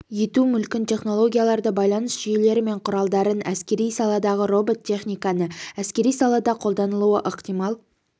ету мүлкін технологияларды байланыс жүйелері мен құралдарын әскери саладағы робот техниканы әскери салада қолданылуы ықтимал